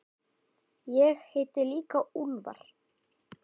Ég heiti líka Úlfar.